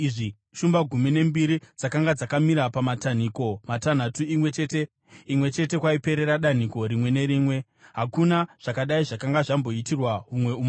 Shumba gumi nembiri dzakanga dzakamira pamatanhiko matanhatu, imwe chete kwaiperera danhiko rimwe nerimwe. Hakuna zvakadai zvakanga zvamboitirwa humwe umambo.